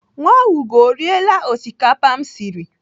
Nwaugo ọ riela osikapa m siri?